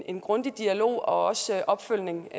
en grundig dialog og opfølgning